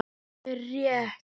Það er rétt.